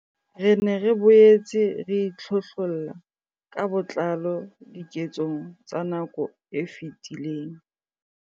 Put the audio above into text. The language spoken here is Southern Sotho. Re ne re boetse re itlhohlolla ka botlalo diketsong tsa nako e fetileng.